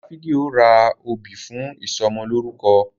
Dáfídì o rà òbí fún ìsomo lórúko